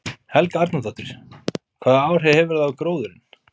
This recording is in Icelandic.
Helga Arnardóttir: Hvaða áhrif hefur það á gróðurinn?